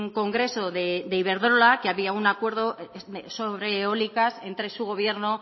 congreso de iberdrola que había un acuerdo sobre eólicas entre su gobierno